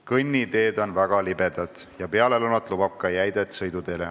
Kõnniteed on väga libedad ja peale lõunat lubab ka jäidet sõiduteele.